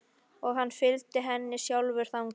Og hann fylgdi henni sjálfur þangað.